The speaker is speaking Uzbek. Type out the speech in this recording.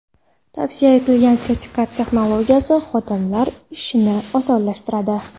Tavsiya etilgan sertifikat texnologiyasi, xodimlar ishini osonlashtiradi.